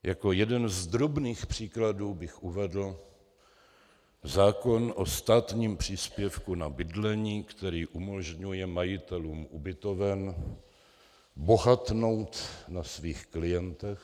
Jako jeden z drobných příkladů bych uvedl zákon o státním příspěvku na bydlení, který umožňuje majitelům ubytoven bohatnout na svých klientech.